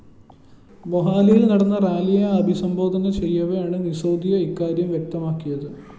മൊഹാലിയില്‍ നടന്ന റാലിയെ അഭിസംബോധന ചെയ്യവെയാണ് സിസോദിയ ഇക്കാര്യം വ്യക്തമാക്കിയത്